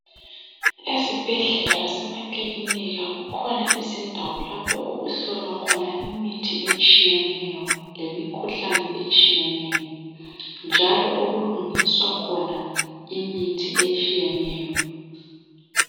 Ezibhedlela lasemakilinika kukhona izindawo lapho okuhlolwa khona imithi etshiyeneyo lemikhuhlane etshiyeneyo njalo okulungiswa khona imithi etshiyeneyo.